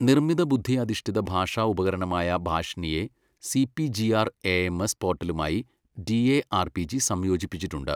നിർമ്മിത ബുദ്ധി അധിഷ്ഠിത ഭാഷാ ഉപകരണമായ ഭാഷിനിയെ സിപിജിആർഎഎംഎസ് പോർട്ടലുമായി ഡിഎആർപിജി സംയോജിപ്പിച്ചിട്ടുണ്ട്.